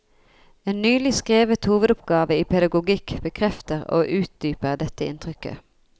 En nylig skrevet hovedoppgave i pedagogikk bekrefter og utdyper dette inntrykket.